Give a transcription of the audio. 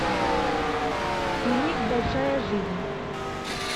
фильмик большая жизнь